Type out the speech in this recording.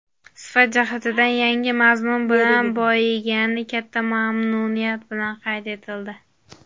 sifat jihatidan yangi mazmun bilan boyigani katta mamnuniyat bilan qayd etildi.